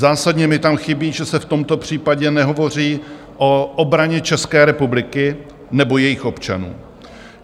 Zásadně mi tam chybí, že se v tomto případě nehovoří o obraně České republiky nebo jejích občanů.